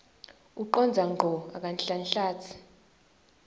ucondza ngco akanhlanhlatsi